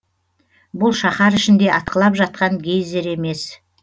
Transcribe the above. бұл шаһар ішінде атқылап жатқан гейзер емес